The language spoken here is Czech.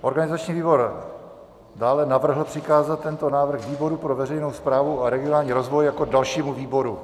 Organizační výbor dále navrhl přikázat tento návrh výboru pro veřejnou správu a regionální rozvoj jako dalšímu výboru.